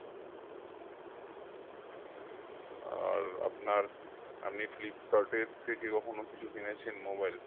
আর আপনার আপনি ফ্লিপকার্টের থেকে কখনো কিছু কিনেছেন mobile?